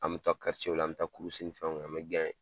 An bɛ taa la an bɛ taa ni fɛnw kɛ an bɛ .